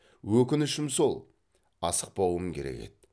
өкінішім сол асықпауым керек еді